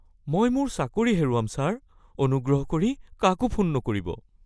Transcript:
মই মোৰ চাকৰি হেৰুৱাম, ছাৰ। অনুগ্ৰহ কৰি কাকো ফোন নকৰিব (বেংক বিক্ৰেতা)